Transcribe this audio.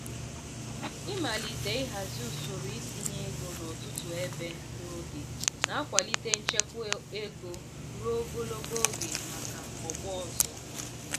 ịmalite ịhazi usoro itinye ego n'ọtụtụ ebe n'oge na-akwalite nchekwa ego ruo ogologo oge maka ọgbọ ọzọ.